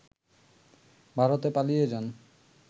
ভারতে পালিয়ে যান